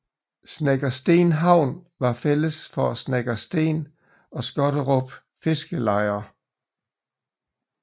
Snekkersten havn var fælles for Snekkersten og Skotterup fiskerlejer